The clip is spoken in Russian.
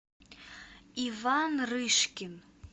иван рыжкин